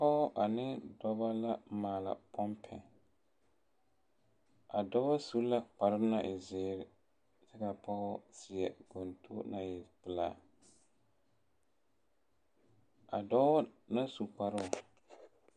Pɔge ane dɔbɔ la maala pompi, a dɔbɔ su la kpare nɔ-e-zeere ka a pɔge seɛ gontoŋ naŋ e pelaa, a dɔɔ na su kparoo.